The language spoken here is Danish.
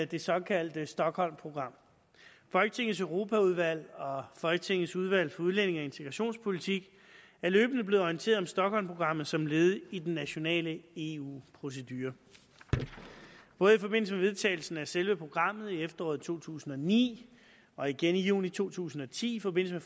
det såkaldte stockholmprogram folketingets europaudvalg og folketingets udvalg for udlændige og integrationspolitik er løbende blevet orienteret om stockholmprogrammet som led i den nationale eu procedure både i forbindelse med vedtagelsen af selve programmet i efteråret to tusind og ni og igen i juni to tusind og ti i forbindelse